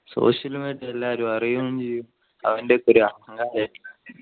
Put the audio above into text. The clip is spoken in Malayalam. social media എല്ലാരും അറിയും ചെയ്യും അവൻ്റെഒക്കെ ഒരു അഹങ്കാരം